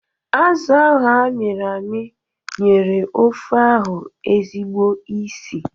Azụ ahụ a miri ami nyere ofe ahụ ezigbo ísì